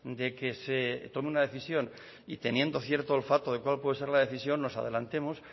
de que se tome una decisión y teniendo cierto olfato de cuál puede ser la decisión nos adelantemos